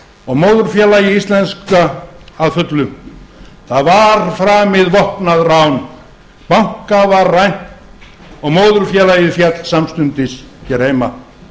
og móðurfélagi íslenska að fullu það var framið vopnað rán banka var rænt og móðurfélagið féll samstundis hér heima